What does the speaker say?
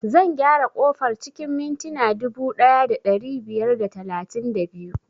Zan gyara ƙofar cikin mintina dubu ɗaya da ɗari biyar da talatin da biyu